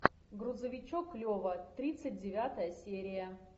грузовичок лева тридцать девятая серия